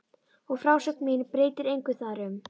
Og frásögn mín breytir engu þar um.